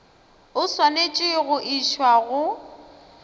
o swanetše go išwa go